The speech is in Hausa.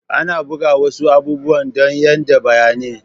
Ana buga wasu abubuwan dan yaɗa bayanai